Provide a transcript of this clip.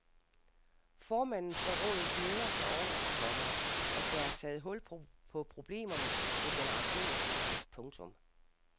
Formanden for rådet glæder sig over, komma at der er taget hul på problemerne med generationsskifte. punktum